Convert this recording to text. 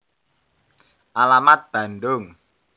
Alamat Bandung